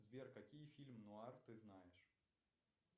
сбер какие фильмы нуар ты знаешь